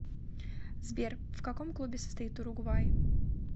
сбер в каком клубе состоит уругвай